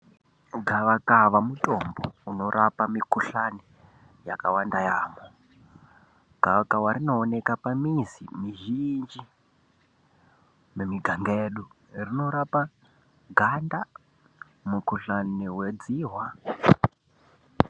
Gavakava mutombo unorapa mikhuhlani yakawanda yaamho. Gavakava rinooneka pamizi mizhinji mumiganga yedu. Rinorapa ganda mukhuhlani wedzihwa.